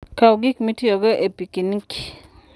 Kaw gik mitiyogo e pikiniki.